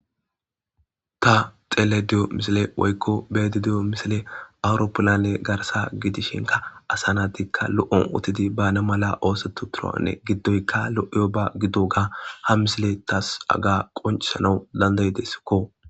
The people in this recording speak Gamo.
ta xeleda diyo misile woykko be7aydadiyo misile awuroppulanne garsa gidishinka asanatikka lo7on utidi baana mala oosotu turaanne giddoykka lo7iyo ba giddo ga ha misile taas aga qoncisanawu dandayidessikko